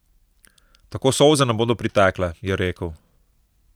Tako solze ne bodo pritekle, je rekel.